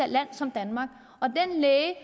land som danmark og den læge